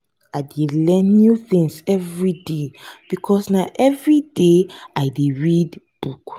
i dey learn new tins everyday because na everyday i dey read book.